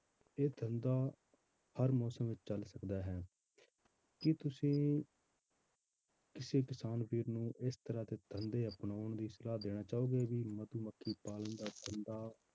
ਇਹ ਧੰਦਾ ਹਰ ਮੌਸਮ ਵਿੱਚ ਚੱਲ ਸਕਦਾ ਹੈ ਕੀ ਤੁਸੀਂ ਕਿਸੇ ਕਿਸਾਨ ਵੀਰ ਨੂੰ ਇਸ ਤਰ੍ਹਾਂ ਦੇ ਧੰਦੇ ਅਪਨਾਉਣ ਦੀ ਸਲਾਹ ਦੇਣਾ ਚਾਹੋਗੇ ਵੀ ਮਧੂਮੱਖੀ ਪਾਲਣ ਦਾ ਧੰਦਾ,